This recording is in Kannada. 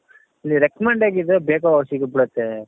ಈಲಿ recommend ಆಗಿದ್ರೆ ಬೇಗ ಸಿಕ್ಬಿಡುತ್ತೆ